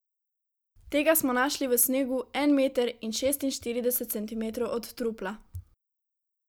Tega smo našli v snegu, en meter in šestinštirideset centimetrov od trupla.